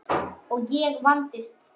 Og ég vandist því.